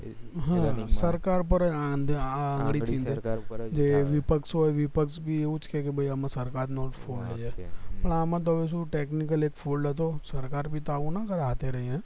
સરકાર પર જ આંગળી ચીંધે જે વિપક્ષ હોય વિપક્ષ ભી એવુજ કે કે ભય આમાં સરકાર નો જ fault છે ના આમાં તો શું technical એક fault હતો સરકાર ભી તો આવું ના કરે હાથે રહીને